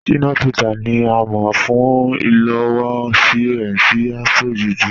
Shina Peters ni à mọ̀ fún ilowọ̀sí rẹ̀ sí Afro-Juju.